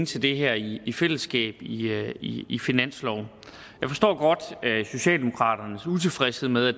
til det her i i fællesskab i i finansloven jeg forstår godt socialdemokraternes utilfredshed med at